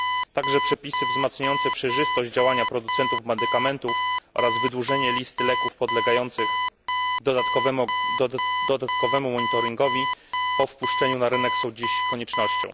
Także przepisy zwiększające przejrzystość działania producentów medykamentów oraz wydłużenie listy leków podlegających dodatkowemu monitoringowi po dopuszczeniu na rynek są dziś koniecznością.